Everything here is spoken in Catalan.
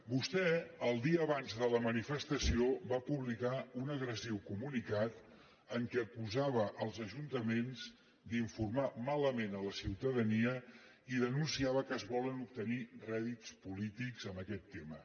vostè el dia abans de la manifestació va publicar un agressiu comunicat en què acusava els ajuntaments d’informar malament la ciutadania i denunciava que es volen obtenir rèdits polítics amb aquest tema